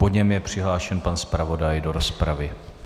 Po něm je přihlášen pan zpravodaj do rozpravy.